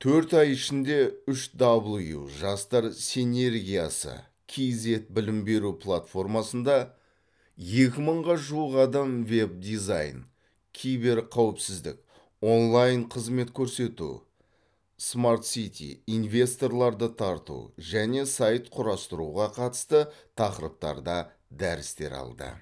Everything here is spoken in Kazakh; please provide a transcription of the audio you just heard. төрт ай ішінде үш дабл ю жастар синергиясы кейзэт білім беру платформасында екі мыңға жуық адам веб дизайн киберқауіпсіздік онлайн қызмет көрсету смартсити инвесторларды тарту және сайт құрастыруға қатысты тақырыптарда дәрістер алды